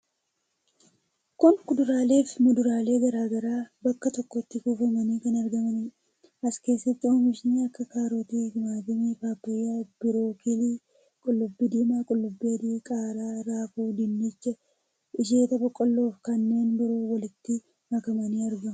Kun kuduraalee fi muduraaleen garaa garaa bakka tokkotti kuufamanii kan argamanidha. As keessatti oomishni akka kaarotii, timaatimii, paappayyaa, birookilii, qullubbii diimaa, qullubbii adii, qaaraa, raafuu, dinnicha, isheeta boqqolloo fi kanneen biroo walitti makamanii argamu.